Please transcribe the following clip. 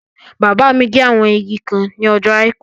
Bàbá mi gé àwọn igi kan ní ọjọ́ àìkú